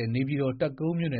ဲ့ နေပြည်တော် တပ်ကုန်းမြို့နယ